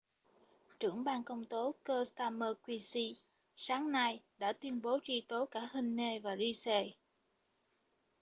trưởng ban công tố keir starmer qc sáng nay đã tuyên bố truy tố cả huhne và pryce